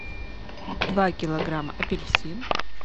два килограмма апельсин